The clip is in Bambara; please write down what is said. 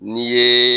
N'i ye